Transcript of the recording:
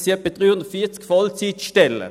Das sind etwa 340 Vollzeitstellen.